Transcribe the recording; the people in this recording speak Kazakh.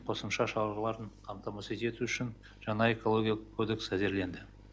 қосымша шараларын қамтамасыз ету үшін жаңа экологиялық кодекс әзірленді